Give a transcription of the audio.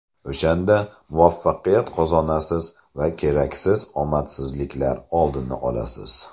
O‘shanda muvaffaqiyat qozonasiz va keraksiz omadsizliklar oldini olasiz.